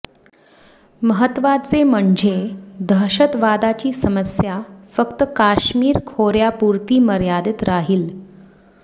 महत्त्वाचे म्हणजे दहशतवादाची समस्या फक्त काश्मीर खोर्यापुरती मर्यादित राहील